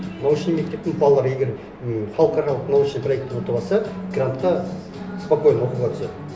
научный мектептің балалары егер м халықаралық научный проектін ұтып алса грантқа спокойно оқуға түседі